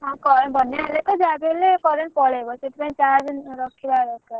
ହଁ ବନ୍ୟା ହେଲେ ତ ଯାହା ବି ହେଲେ current ପଳେଇବ ସେଇଥିପାଇଁ charge ରଖିବା ଦରକାର।